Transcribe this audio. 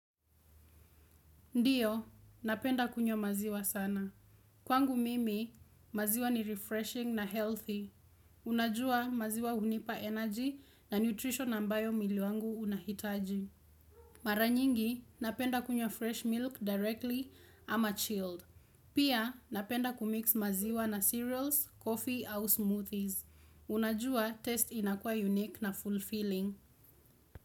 Ndiyo, napenda kunywa maziwa sana. Kwangu mimi, maziwa ni refreshing na healthy. Unajua maziwa hunipa energy na nutrition ambayo mwili wangu unahitaji. Mara nyingi, napenda kunywa fresh milk directly ama chilled. Pia, napenda kumix maziwa na cereals, coffee au smoothies. Unajua, taste inakuwa unique na fulfilling.